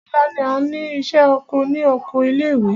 Ọ̀la ni a ní ìṣẹ́ oko ní oko ilé ìwé.